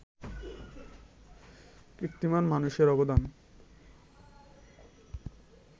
কীর্তিমান মানুষের অবদান